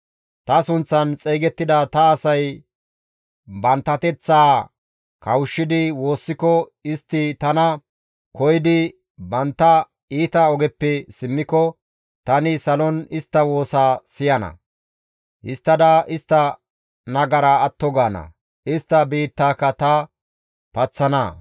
ta sunththan xeygettida ta asay banttanateththaa kawushshidi woossiko, istti tana koyidi bantta iita ogeppe simmiko, tani salon daada istta woosaa siyana; histtada istta nagaraa atto gaana; istta biittaaka ta paththana.